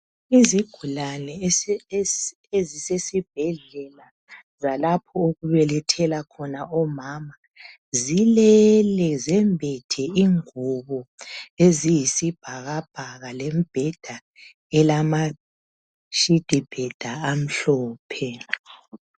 Izigulane ezisesibhedlela zalapho okubelethela khona omama zilele, zembethe ingubo eziyisibhakabhaka lembheda elama "bed sheet" amhlophe.